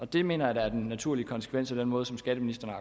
det mener jeg da er den naturlige konsekvens af den måde som skatteministeren